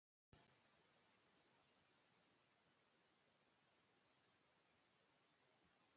Vöggur, hvað er mikið eftir af niðurteljaranum?